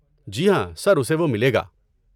جی ہاں، سر، اسے وہ ملے گا۔